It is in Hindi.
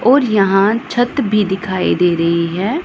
और यहां छत भी दिखाई दे रही है।